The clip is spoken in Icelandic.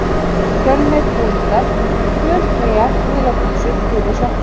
Fjölnir Búningar: Gul treyja, gular buxur, gulir sokkar.